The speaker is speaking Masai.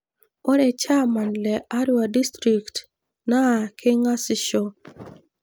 Ore chaaman le Arua district naa keng'ashisho.